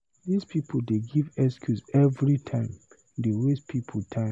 This people dey give excuse everytime, dey waste people time.